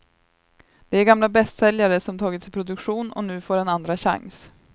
Det är gamla bästsäljare som tagits i produktion och nu får en andra chans.